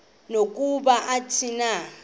nokuba athini na